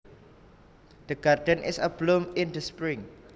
The garden is abloom in the spring